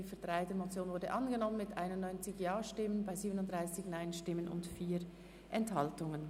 Die Ziffer 3 der Motion ist angenommen worden mit 91 Ja- zu 37 Nein-Stimmen bei 4 Enthaltungen.